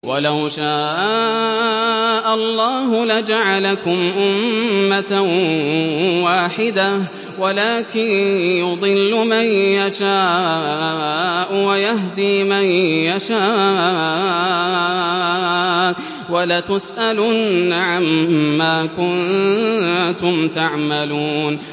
وَلَوْ شَاءَ اللَّهُ لَجَعَلَكُمْ أُمَّةً وَاحِدَةً وَلَٰكِن يُضِلُّ مَن يَشَاءُ وَيَهْدِي مَن يَشَاءُ ۚ وَلَتُسْأَلُنَّ عَمَّا كُنتُمْ تَعْمَلُونَ